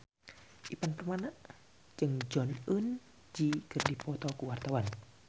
Ivan Permana jeung Jong Eun Ji keur dipoto ku wartawan